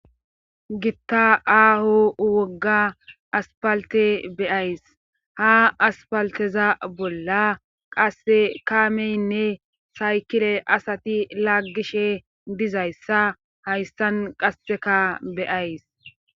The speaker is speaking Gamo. gitta aaho wogga aspalte beyays ha aspalteza bolla qasse kaameynne saykire asati laggishe dizayssa hayssan qasseka beyays